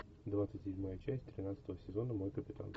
двадцать седьмая часть тринадцатого сезона мой капитан